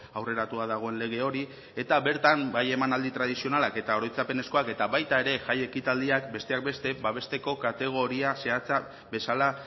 aurreratua dagoen lege hori eta bertan bai emanaldi tradizionalak eta oroitzapenezkoak eta baita ere jai ekitaldiak besteak beste babesteko kategoria zehatza bezala